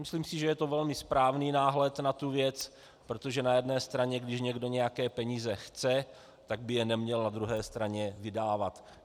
Myslím si, že je to velmi správný náhled na tu věc, protože na jedné straně když někdo nějaké peníze chce, tak by je neměl na druhé straně vydávat.